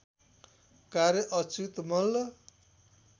कार्य अच्युत मल्ल